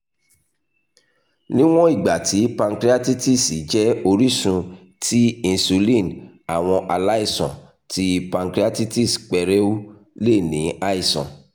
niwọn igba ti pancreatitis jẹ orisun ti insulin awọn alaisan ti pancreatitis pẹrẹu le ni aisan